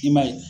I man ye